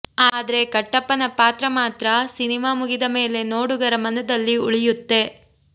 ಆದ್ರೆ ಕಟ್ಟಪ್ಪನ ಪಾತ್ರ ಸಿನಿಮಾ ಮುಗಿದ ಮೇಲೆ ನೋಡುಗರ ಮನದಲ್ಲಿ ಉಳಿಯುತ್ತೆ